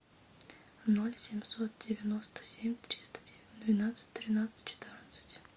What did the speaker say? ноль семьсот девяносто семь триста двенадцать тринадцать четырнадцать